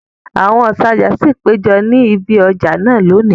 Àwọn òǹtajà ṣì péjọ ni ibi ọjà náà lónìí